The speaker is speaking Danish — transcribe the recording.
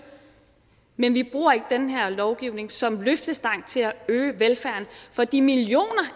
men vi bruger ikke den her lovgivning som løftestang til at øge velfærden for de millioner